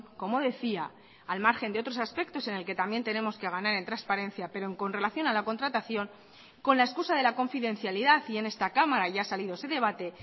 como decía al margen de otros aspectos en el que también tenemos que ganar en transparencia pero con relación a la contratación con la excusa de la confidencialidad y en esta cámara ya ha salido ese debate